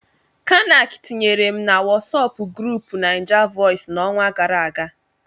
Kanac tinyere m na Wọsọpu grupuu Naijavoices n'ọnwa gara aga.